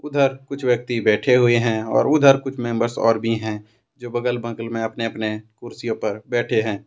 उधर कुछ व्यक्ति बैठे हुए हैं और उधर कुछ मेंबर्स और भी हैं जो बगल बगल में अपने अपने कुर्सियों पर बैठे हैं।